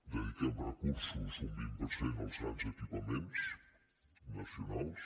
dediquem recursos un vint per cent als grans equipaments nacionals